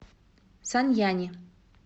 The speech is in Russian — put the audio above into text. саньяни